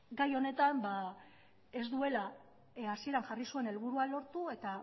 gai honetan ez duela hasieran jarri zuen helburua lortu eta